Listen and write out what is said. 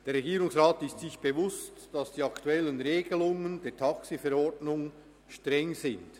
Der Regierungsrat ist sich bewusst, dass die aktuellen Regelungen der TaxiV streng sind.